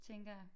Tænker jeg